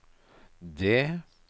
D